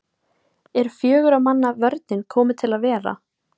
Er fjögurra manna vörnin komin til að vera?